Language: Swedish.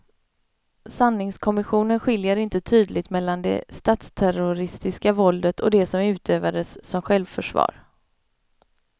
Sanningskommissionen skiljer inte tydligt mellan det statsterroristiska våldet och det som utövades som självförsvar.